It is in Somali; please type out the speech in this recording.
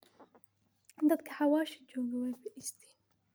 Dadka xawasha joge way fadisten.